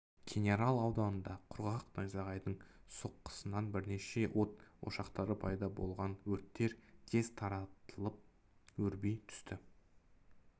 кенерал ауданында құрғақ найзағайдың соққысынан бірнеше от ошақтары пайда болған өрттер тез таралып өрби түсті